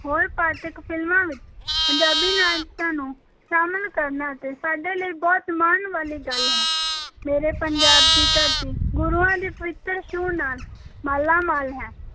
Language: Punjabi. ਹੋਰ ਪਾਂਤਕ ਫ਼ਿਲਮਾਂ ਵਿੱਚ ਪੰਜਾਬੀ ਨਾਚਾਂ ਨੂੰ ਸ਼ਾਮਲ ਕਰਨਾ ਅਤੇ ਸਾਡੇ ਲਈ ਬਹੁਤ ਮਾਣ ਵਾਲੀ ਗੱਲ ਹੈ, ਮੇਰੇ ਪੰਜਾਬ ਦੀ ਧਰਤੀ ਗੁਰੂਆਂ ਦੀ ਪਵਿੱਤਰ ਛੂਹ ਨਾਲ ਮਾਲਾਮਾਲ ਹੈ।